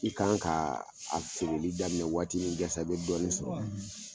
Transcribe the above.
I kan ka a segeni daminɛ waati min yasa i bɛ dɔɔni sɔrɔ., .